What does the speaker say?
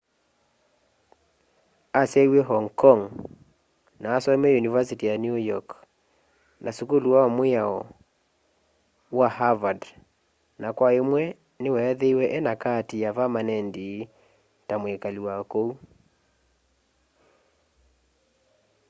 asyaiwe hong kong ma asomeie univasiti ya new york na sukulu wa miao wa harvard na kwa imwe niweethiiwe ena kaati ya vamanendi ta mwikali wa kuu